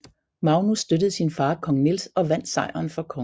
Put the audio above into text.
Magnus støttede sin far kong Niels og vandt sejren for kongen